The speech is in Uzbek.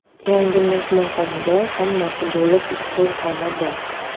Yangi mehmonxonada hammasi bo‘lib uchta xona bor.